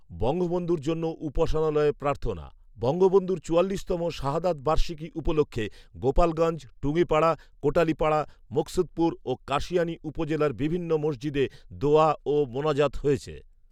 বঙ্গবন্ধুর জন্য উপাসনালয়ে প্রার্থনা, বঙ্গবন্ধুর চুয়াল্লিশ তম শাহাদৎ বার্ষিকী উপলক্ষ্যে গোপালগঞ্জ, টুঙ্গিপাড়া, কোটালীপাড়া, মুকসুদপুর ও কাশিয়ানী উপজেলার বিভিন্ন সমজিদে দোয়া ও মোনাজাত হয়েছে